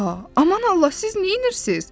Aman Allah, siz neynirsiz?